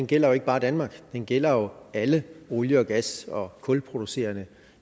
gælder jo ikke bare danmark den gælder alle olie og gas og kulproducerende